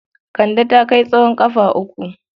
Kande ta kai tsowon ƙafa uku.